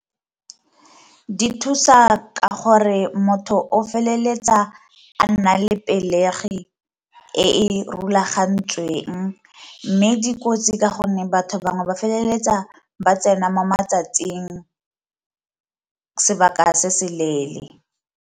Di thusa ka gore motho o feleletsa a nna le pelegi e e rulagantsweng, mme dikotsi ka gonne batho bangwe ba feleletsa ba tsena mo matsatsing sebaka se se leele.